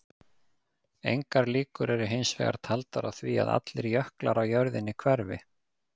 Engar líkur eru hins vegar taldar á því að allir jöklar á jörðinni hverfi.